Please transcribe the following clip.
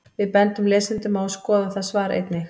Við bendum lesendum á að skoða það svar einnig.